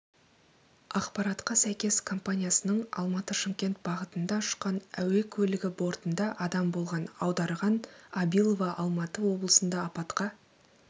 ақпаратқа сәйкес компаниясының алматы-шымкент бағытанда ұшқан әуе көлігі бортында адам болған аударған абилова алматы облысында апатқа